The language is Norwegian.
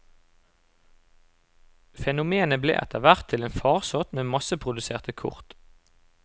Fenomenet ble etterhvert til en farsott med masseproduserte kort.